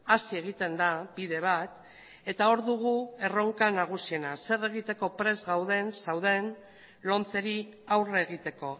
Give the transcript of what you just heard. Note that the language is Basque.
hasi egiten da bide bat eta hor dugu erronka nagusiena zer egiteko prest gauden zauden lomceri aurre egiteko